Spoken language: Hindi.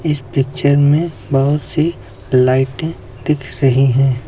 इस पिक्चर में बहुत सी लाइटें दिख रही हैं।